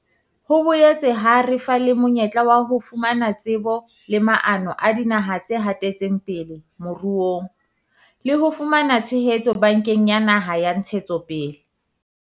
Ho boetse ha re fa le monyetla wa ho fumana tsebo le maano a dinaha tse hatetseng pele moruong le ho fumana tshehetso Bankeng ya Naha ya Ntshetsopele.